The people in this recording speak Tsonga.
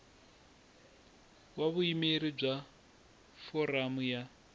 wa vuyimeri bya foramu ya